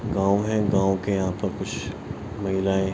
गांव है गांव के यहाँ पर कुछ महिलायें --